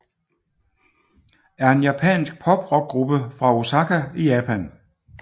er en japansk poprockgruppe fra Osaka i Japan